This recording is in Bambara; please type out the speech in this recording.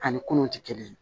Ani kunun ti kelen ye